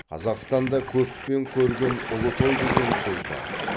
қазақстанда көппен көрген ұлы той деген сөз бар